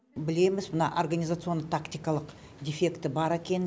білеміз мына организационный тактикалық дефекті бар екенін